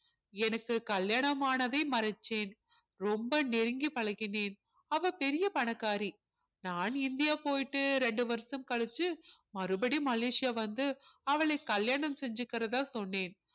எனக்கு கல்யாணம் ஆனதை மறைச்சேன் ரொம்ப நெருங்கி பழகினேன் அவ பெரிய பணக்காரி நான் இந்தியா போயிட்டு ரெண்டு வருஷம் கழிச்சு மறுபடியும் மலேசியா வந்து அவளை கல்யாணம் செஞ்சுக்கிறதா சொன்னேன்